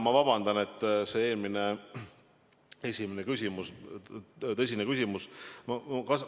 Ma vabandan, et mul eelmisele tõsisele küsimusele vastamine pooleli jäi.